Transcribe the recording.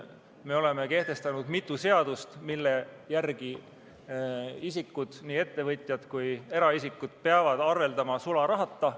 Me oleme kehtestanud mitu seadust, mille järgi isikud, nii ettevõtjad kui ka eraisikud, peavad arveldama sularahata.